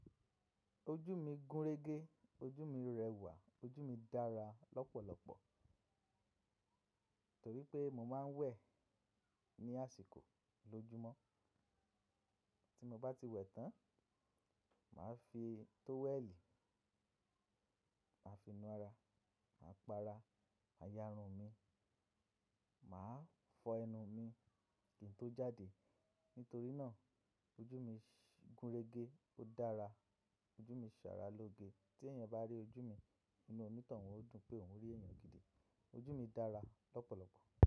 Ojú mi gúnrégé, ojú mi rẹwà, ojú mi dára lọ́pọ̀lọpọ̀ torí pé mo máa ń wẹ̀ ní àsìkò lójúmọ́. Tí mo bá ti wẹ̀ tán, màá fi tówẹ́ẹ̀lì, màá fi nu ara, màá pa ara, ma yà irun mi, màá fọ ẹnu mi kí n tó jáde. Nítorí náà ojú mi gúnrégé, ó dára, ojú mi sára lóge. Tí èèyàn bá rí ojú mi inú onitán un o dùn pé òun rí èèyàn gidi. Ojú mi dára lọ́pọ̀lọpọ̀